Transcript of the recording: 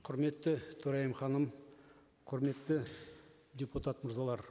құрметті төрайым ханым құрметті депутат мырзалар